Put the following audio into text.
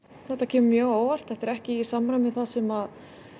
þetta kemur mjög á óvart þetta er ekki í samræmi við það sem